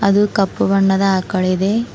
ಇದು ಕಪ್ಪು ಬಣ್ಣದ ಆಕಳ್ ಇದೆ.